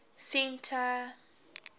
centre